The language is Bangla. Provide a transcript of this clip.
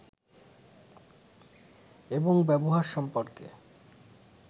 এবং ব্যবহার সম্পর্কে